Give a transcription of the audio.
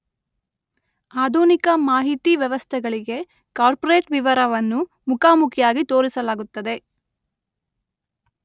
ಆಧುನಿಕ ಮಾಹಿತಿ ವ್ಯವಸ್ಥೆಗಳಿಗೆ ಕಾರ್ಪೊರೇಟ್ ವಿವರವನ್ನು ಮುಖಾಮುಖಿಯಾಗಿ ತೋರಿಸಲಾಗುತ್ತದೆ